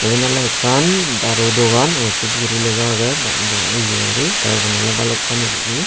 eben ole ekkan daru dogan osud guri lega aage ba ba ye guri te eben ole balukkani guri.